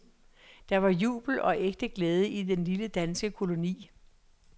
Der var jubel og ægte glæde i den lille danske koloni.